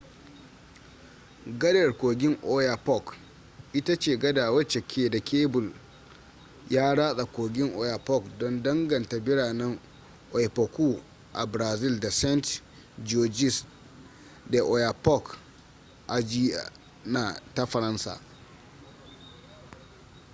gadar kogin oyapock ita ce gada wacce ke da kebul ya ratsa kogin oyapock don danganta biranen oiapoque a brazil da saint-georges de l'oyapock a guiana ta faransa